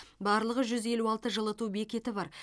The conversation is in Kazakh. барлығы жүз елу алты жылыту бекеті бар